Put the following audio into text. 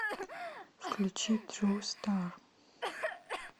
включи тру стар